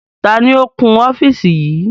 Taàní ó kun ọ́fíìsì yìí?